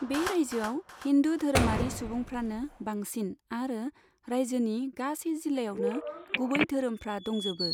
बे रायजोआव हिन्दू धोरोमारि सुबुंफ्रानो बांसिन आरो रायजोनि गासै जिल्लायावनो गुबै धोरोमफ्रा दंजोबो।